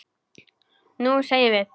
Nú semjum við!